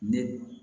Ne